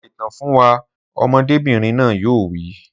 Sọ ìtàn fún wa, ọmọdébìnrin náà yóò wí